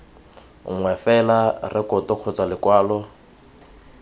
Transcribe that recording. nngwe fela rekoto kgotsa lekwalo